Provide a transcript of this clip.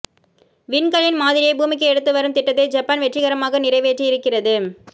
விண்கல்லின் மாதிரியை பூமிக்கு எடுத்து வரும் திட்டத்தை ஜப்பான் வெற்றிகரமாக நிறைவேற்றி இருக்கிறது